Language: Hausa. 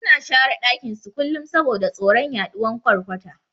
Suna share dakin su kullun saboda tsoron yaduwan ƘwarƘwata